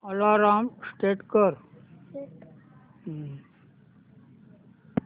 alarm set कर